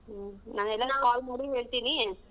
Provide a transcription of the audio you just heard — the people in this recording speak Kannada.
ಹ್ಮ್ ನಾನೆಲ್ಲಾ call ಮಾಡಿ ಹೇಳ್ತೀನಿ.